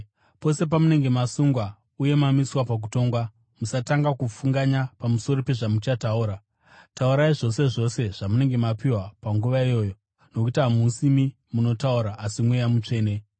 Pose pamunenge masungwa uye mamiswa pakutongwa, musatanga kufunganya pamusoro pezvamuchataura. Taurai zvose zvose zvamunenge mapiwa panguva iyoyo, nokuti hamusimi munotaura, asi Mweya Mutsvene.